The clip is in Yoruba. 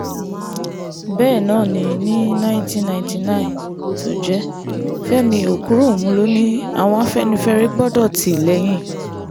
bẹ́ẹ̀ náà ni ní nineteen ninety nine tó jẹ́ fẹ́mi òkúròǹmù ló ní àwọn afẹ́nifẹ́re gbọ́dọ̀ tì lẹ́yìn